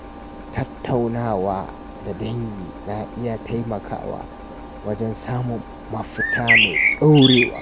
Tattaunawa da dangi na iya taimakawa wajen samun mafita mai dorewa.